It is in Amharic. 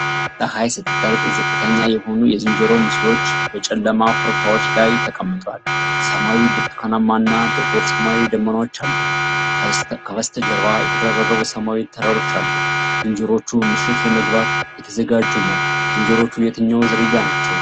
ፀሐይ ስትጠልቅ፣ ዝቅተኛ የሆኑ የዝንጀሮ ምስሎች በጨለማ ኮረብታዎች ላይ ተቀምጠዋል። ሰማዩ ብርቱካንማ እና ጥቁር ሰማያዊ ደመናዎች አሉት፤ ከበስተጀርባ የተደራረቡ ሰማያዊ ተራሮች አሉ። ዝንጀሮዎቹ ምሽት ለመግባት እየተዘጋጁ ነው። ዝንጀሮዎቹ የትኛው ዝርያ ናቸው?